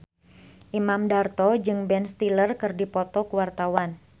Imam Darto jeung Ben Stiller keur dipoto ku wartawan